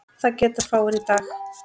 Það geta fáir í dag.